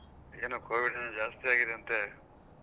ಏನು covid ಏನು ಜಾಸ್ತಿ ಆಗಿದೆ ಅಂತೆ?